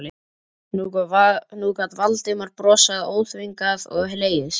Nú gat Valdimar brosað óþvingað og hlegið.